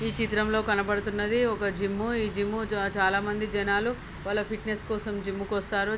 ఈ చిత్రంలో కనబడుతున్నది ఒక జిమ్ ఇ జిమ్ జా చాలామంది జనాలు వాళ్ల ఫిట్నెస్ కోసం జిమ్ కొస్తారు.